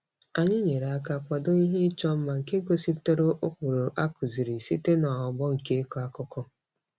Anyị nyere aka kwado ihe ịchọ mma nke gosipụtara ụkpụrụ a kụziiri site n'ọgbọ nke ịkọ akụkọ.